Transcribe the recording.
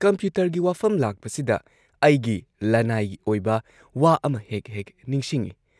ꯀꯝꯄ꯭꯭ꯌꯨꯇꯔꯒꯤ ꯋꯥꯐꯝ ꯂꯥꯛꯄꯁꯤꯗ ꯑꯩꯒꯤ ꯂꯟꯅꯥꯏ ꯑꯣꯏꯕ ꯋꯥ ꯑꯃ ꯍꯦꯛ ꯍꯦꯛ ꯅꯤꯡꯁꯤꯡꯏ ꯫